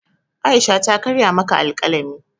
Aisha ta karya maka alkalami